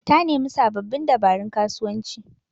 Ta nemi sababbin dabarun kasuwanci